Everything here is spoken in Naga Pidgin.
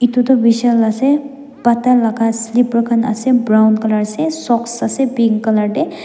etu toh vishal asae bata laka slippers khan asae brown colour asae socks asae pink colour dae.